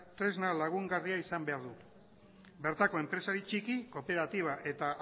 tresna lagungarria izan behar du bertako enpresari txiki kooperatiba eta